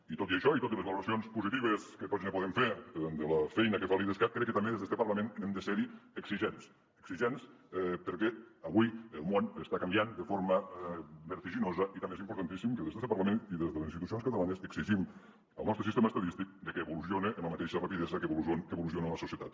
i tot i això i totes les valoracions positives que tots podem fer de la feina que fa l’idescat crec que també des d’este parlament hem de ser exigents perquè avui el món està canviant de forma vertiginosa i també és importantíssim que des d’este parlament i des de les institucions catalanes exigim al nostre sistema estadístic que evolucione amb la mateixa rapidesa que evoluciona la societat